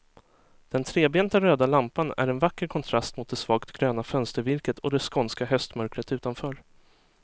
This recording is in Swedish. Den trebenta röda lampan är en vacker kontrast mot det svagt gröna fönstervirket och det skånska höstmörkret utanför.